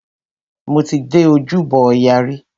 Mo ti dé Ojúbọ ọya rí.